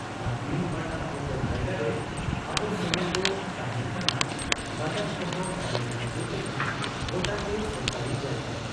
ᱟᱨ ᱵᱤᱱ ᱯᱟᱴᱟ ᱯᱚᱛᱚᱨ ᱡᱟᱭᱜᱟᱨᱮ ᱟᱵᱚ ᱥᱩᱢᱩᱝ ᱫᱚ ᱛᱟᱦᱮᱸᱱ ᱠᱟᱱᱟ, ᱵᱟᱡᱟᱨ ᱠᱚᱦᱚᱸ ᱧᱮᱞ ᱟᱹᱪᱩᱨ ᱞᱮᱠᱷᱟᱱ ᱜᱚᱴᱟᱜᱮ ᱥᱚᱨᱠᱟᱨᱤ ᱡᱟᱭᱜᱟ ᱾